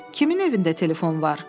Kimin evində telefon var?